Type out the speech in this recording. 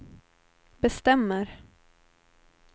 bestämmer